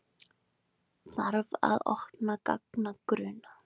Þarf að opna gagnagrunna